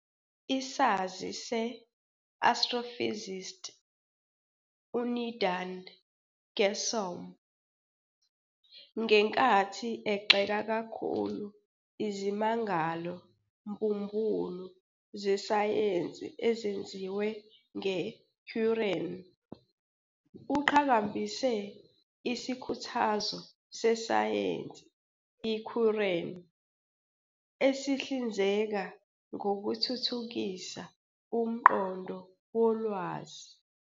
Isazi se-astrophysicist uNidhal Guessoum, ngenkathi egxeka kakhulu izimangalo mbumbulu zesayensi ezenziwe ngeQuran, uqhakambise isikhuthazo sesayensi iQuran esihlinzeka ngokuthuthukisa "umqondo wolwazi."